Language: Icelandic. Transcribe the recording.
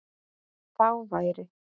Þá væri